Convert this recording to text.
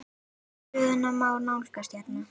Stöðuna má nálgast hérna.